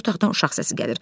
İçəri otaqdan uşaq səsi gəlir.